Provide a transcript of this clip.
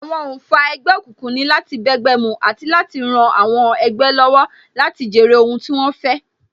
Àwọn oǹfà ẹgbẹ́ òkùnkùn ni láti bẹ́gbẹ́ mu àti láti ran àwọn ẹgbẹ́ lọ́wọ́ láti jèrè ohun tí wón fẹ́